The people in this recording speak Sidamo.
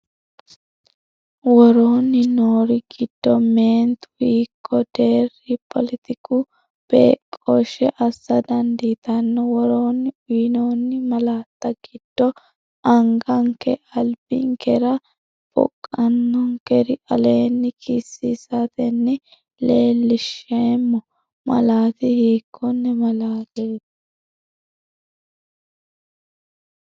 Woroonni noori giddo meentu hiikko deerri poletiku beeqqooshshe assa dandiitanno? Woroonni uyinoonni malaatta giddo anganke albinkera boqonkera aleenni kisiisatenni leellinsheemmo malaati hiikkonne malaateeti?